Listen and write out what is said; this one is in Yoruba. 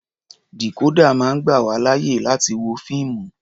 Dìkódà máa ń gbà wá láyè láti wo fíìmù.